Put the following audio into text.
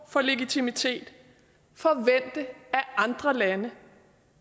legitimitet forvente af andre lande